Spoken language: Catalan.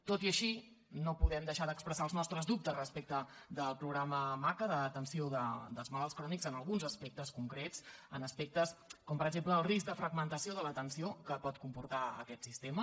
tot i així no podem deixar d’expressar els nostres dubtes respecte del programa maca d’atenció dels malalts crònics en alguns aspectes concrets en aspectes com per exemple el risc de fragmentació de l’atenció que pot comportar aquest sistema